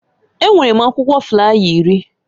Enwere m akwụkwọ flaya iri.